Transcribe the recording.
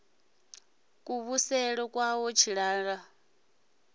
kuvhusele kwawe tshilala o ḓo